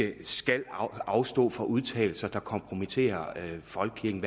at vi skal afstå fra udtalelser der kompromitterer folkekirken